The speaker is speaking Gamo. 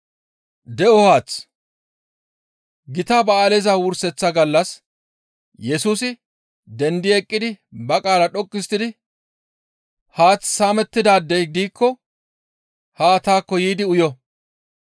Gita ba7aaleza wurseththa gallas Yesusi dendi eqqidi ba qaala dhoqqu histtidi, «Haath saamettidaadey diikko haa taakko yiidi uyo.